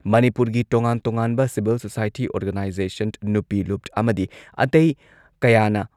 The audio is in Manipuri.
ꯃꯅꯤꯄꯨꯔꯒꯤ ꯇꯣꯉꯥꯟ ꯇꯣꯉꯥꯟꯕ ꯁꯤꯚꯤꯜ ꯁꯣꯁꯥꯏꯇꯤ ꯑꯣꯔꯒꯅꯥꯏꯖꯦꯁꯟ, ꯅꯨꯄꯤ ꯂꯨꯞ ꯑꯃꯗꯤ ꯑꯇꯩ ꯀꯌꯥꯅ